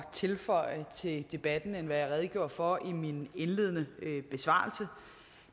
tilføje til debatten end det jeg redegjorde for i min indledende besvarelse